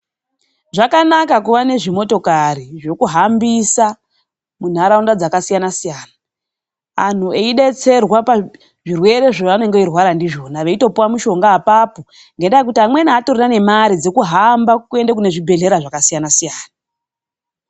Zvakanaka kuva nezvimotokari zvokuhambisa muntaraunda dzakasiyana siyana, Antu eidetserwa pazvirwere zvavanenge veirwara ndizvona, veitopuwa mishonga apapo ngandaa yekuti amweni haatorina nemari dzekuhamba kune zvibhedhlera zvakasiyana siyana.